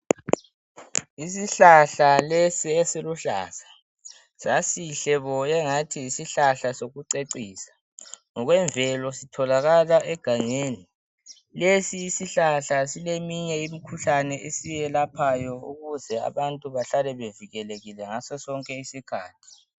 Isihlahla lesi esiluhlaza sasihle bo sengathi ngesekucecisa ngokwemvelo aitholakala egangelni lesi isihlahla sileminye imikhuhlane esiyelaphayo ukuze abantu bahlale bevikelekile ngaso sonke isikhathi.